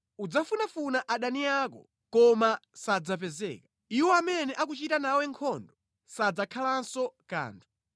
Udzafunafuna adani ako, koma sadzapezeka. Iwo amene akuchita nawe nkhondo sadzakhalanso kanthu.